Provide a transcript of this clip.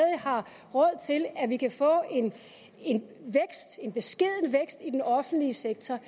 har råd til at vi kan få en en beskeden vækst i den offentlige sektor